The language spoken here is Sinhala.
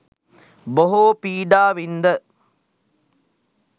බොහෝ පීඩා වින්ද